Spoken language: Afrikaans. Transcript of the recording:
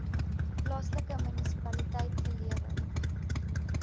plaaslike munisipaliteit gelewer